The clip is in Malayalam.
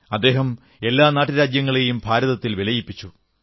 അദ്ദേഹം എല്ലാ നാട്ടുരാജ്യങ്ങളെയും ഭാരതത്തിൽ വിലയിപ്പിച്ചു